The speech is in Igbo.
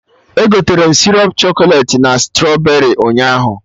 Egoterem sịrọp chọkọlet na strọberị ụnyaahụ